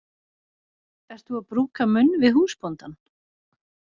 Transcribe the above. Ert þú að brúka munn við húsbóndann?